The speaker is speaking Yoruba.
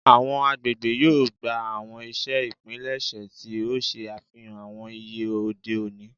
Awọn agbegbe yoo gba awọn iṣe ipilẹṣẹ ti o ṣe afihan awọn iye ode oni